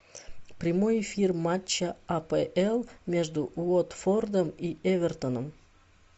прямой эфир матча апл между уотфордом и эвертоном